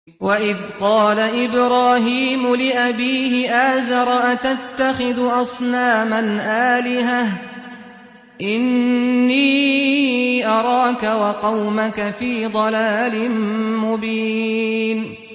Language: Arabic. ۞ وَإِذْ قَالَ إِبْرَاهِيمُ لِأَبِيهِ آزَرَ أَتَتَّخِذُ أَصْنَامًا آلِهَةً ۖ إِنِّي أَرَاكَ وَقَوْمَكَ فِي ضَلَالٍ مُّبِينٍ